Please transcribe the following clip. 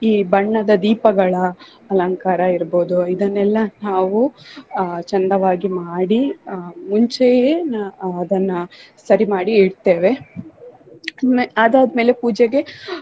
ಈ ಬಣ್ಣದ ದೀಪಗಳ ಅಲಂಕಾರ ಇರ್ಬೋದು ಇದನ್ನೆಲ್ಲಾ ನಾವು ಆಹ್ ಚಂದವಾಗಿ ಮಾಡಿ ಆಹ್ ಮುಂಚೆಯೆ ಆಹ್ ಅದನ್ನ ಸರಿ ಮಾಡಿ ಇಡ್ತೆವೆ. ಅದಾದ್ಮೇಲೆ ಪೂಜೆಗೆ